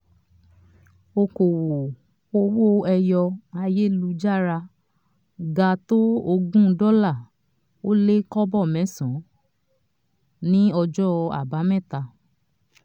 okòwò owó ẹyọ ayélujára ga tó ogún dọ́là ó lé kọ́bọ̀ mẹ́sàn-án ní ọjọ́ àbámẹ́ta.